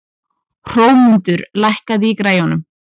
Hrómundur, lækkaðu í græjunum.